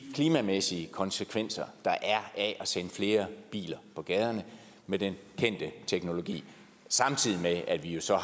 klimamæssige konsekvenser der er at sende flere biler på gaden med den kendte teknologi samtidig med at vi jo så